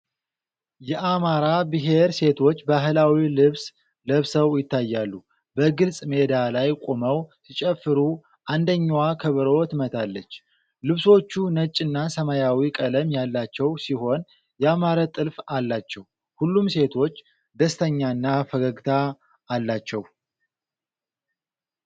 የአማራ ብሔር ሴቶች ባህላዊ ልብስ ለብሰው ይታያሉ። በግልጽ ሜዳ ላይ ቆመው ሲጨፍሩ አንደኛዋ ከበሮ ትመታለች። ልብሶቹ ነጭና ሰማያዊ ቀለም ያላቸው ሲሆን ያማረ ጥልፍ አላቸው። ሁሉም ሴቶች ደስተኛና ፈገግታ አላቸው።